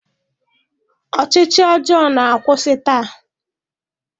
Ọchịchị ọjọọ na-akwụsị taa